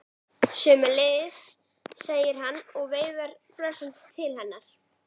Sömuleiðis, segir hann og veifar brosandi til hennar.